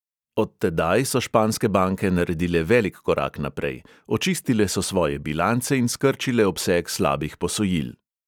Od tedaj so španske banke naredile velik korak naprej: očistile so svoje bilance in skrčile obseg slabih posojil.